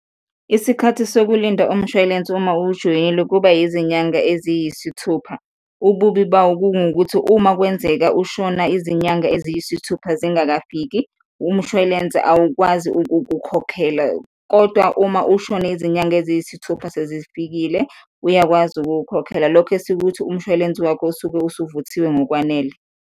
Isikhathi sokulinda umshwalense uma uwujoyinile kuba izinyanga eziyisithupha. Ububi bawo kungukuthi uma kwenzeka ushona izinyanga eziyisithupha zingakafiki, umshwalense awukwazi ukukukhokhela kodwa uma ushone izinyanga eziyisithupha sezifikile, uyakwazi ukukhokhela, lokho esikuthi umshwalense wakho usuke usuvuthiwe ngokwanele.